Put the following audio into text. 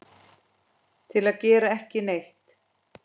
til að gera ekki neitt